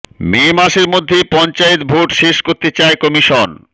মে মাসের মধ্যে পঞ্চায়েত ভোট শেষ করতে চায় কমিশন